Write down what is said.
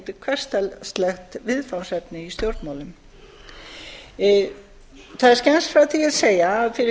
staðgöngumaðurinn er ekkert sérstakt viðfangsefni í stjórnmálum það er skemmt frá því að segja að fyrir